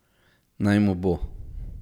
Naj mu bo.